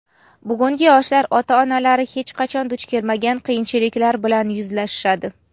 Bugungi yoshlar ota-onalari hech qachon duch kelmagan qiyinchiliklar bilan yuzlashishadi.